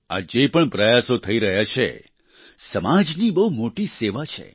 આ જે પણ પ્રયાસો થઈ રહ્યા છે સમાજની બહુ મોટી સેવા છે